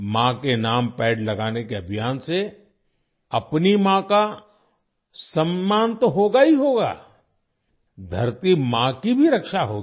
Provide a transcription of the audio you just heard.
माँ के नाम पेड़ लगाने के अभियान से अपनी माँ का सम्मान तो होगा ही होगा धरती माँ की भी रक्षा होगी